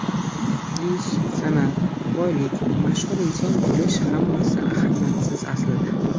Ish, san’at, boylik, mashhur inson bo‘lish hammasi ahamiyatsiz, aslida.